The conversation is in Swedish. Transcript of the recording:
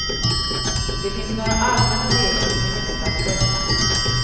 Det finns några allmänna regler som är lätta att följa.